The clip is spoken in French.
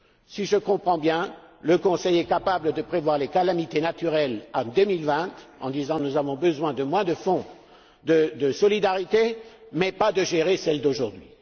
Si je comprends bien, le Conseil est capable de prévoir les calamités naturelles en 2020 en disant Nous avons besoin de moins de fonds de solidarité, mais n'est pas capable de gérer celles d'aujourd'hui.